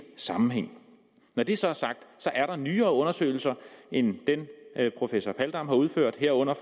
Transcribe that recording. sammenhæng når det så er sagt er der nyere undersøgelser end dem professor paldam har udført herunder